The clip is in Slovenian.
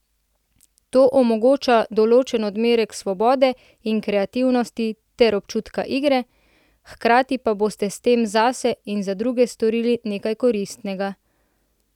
To omogoča določen odmerek svobode in kreativnosti ter občutka igre, hkrati pa boste s tem zase in za druge storili nekaj koristnega.